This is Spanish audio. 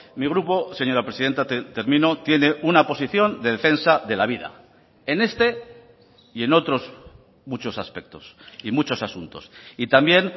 mi grupo señora presidenta termino tiene una posición de defensa de la vida en este y en otros muchos aspectos y muchos asuntos y también